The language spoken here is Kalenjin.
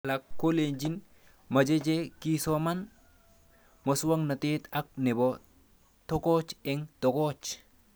Alak kolin mache che kisomane muswog'natet ak nepo tokoch eng' tokoch